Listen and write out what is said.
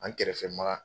An kɛrɛfɛ ma